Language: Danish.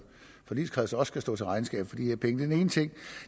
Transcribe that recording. forligskreds sted skal stå til regnskab for de her penge den ene ting